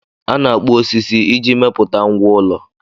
A na-akpụ osisi iji mepụta ngwá ụlọ